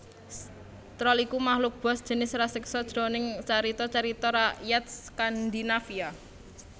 Troll iku makluk buas sajenis raseksa jroning carita carita rakyat Skandinavia